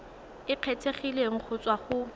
e kgethegileng go tswa go